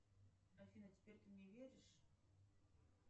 афина теперь ты мне веришь